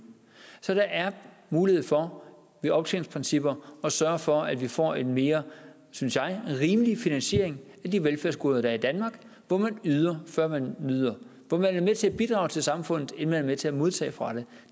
så der er mulighed for ved optjeningsprincipper at sørge for at vi får en mere synes jeg rimelig finansiering af de velfærdsgoder der er i danmark hvor man yder før man nyder og hvor man er med til at bidrage til samfundet inden man er med til at modtage fra det